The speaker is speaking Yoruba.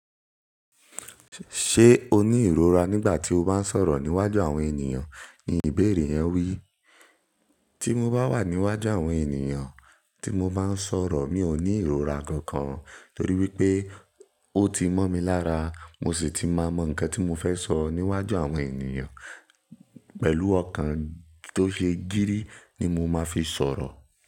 "Ṣé o ní ìrora nígbà tí o bá ń sọ̀rọ̀ níwájú àwọn ènìyàn?" ni ìbéèrè yẹn wí. Tí mo bá wà níwájú àwọn ènìyàn tí mo bá ń sọ̀rọ̀, mi ò ní ìrora kankan torí wípé ó ti mọ́ mi lára, mo sì ti mọ nǹkan tí mo fẹ́ sọ níwájú àwọn ènìyàn pẹ̀lú ọ̀kan tó ṣe gírí ni mo máa fi sọ̀rọ̀